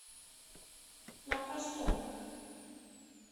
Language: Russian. на простом